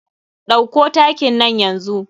Ɗauko takin nan yanzu.